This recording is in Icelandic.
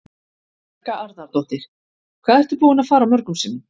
Helga Arnardóttir: Hvað ertu búinn að fara mörgum sinnum?